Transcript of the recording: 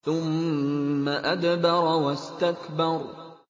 ثُمَّ أَدْبَرَ وَاسْتَكْبَرَ